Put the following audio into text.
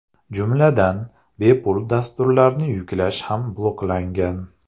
Jumladan, bepul dasturlarni yuklash ham bloklangan.